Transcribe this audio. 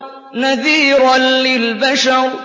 نَذِيرًا لِّلْبَشَرِ